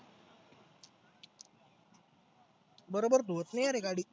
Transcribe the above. बरोबर धोत नाही यार हे गाडी.